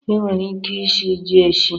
E nwere ike ishi ji eshi